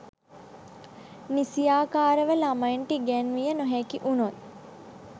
නිසියාකාරව ළමයින්ට ඉගැන්විය නොහැකි වුණොත්